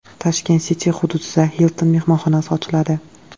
Tashkent City hududida Hilton mehmonxonasi ochiladi.